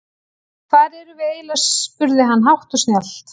Hvar erum við eiginlega spurði hann hátt og snjallt.